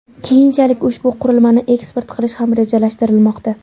Keyinchalik ushbu qurilmani eksport qilish ham rejalashtirilmoqda.